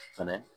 Fɛnɛ